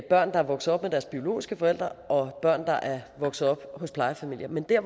der er vokset op med deres biologiske forældre og børn der er vokset op hos plejefamilier men det er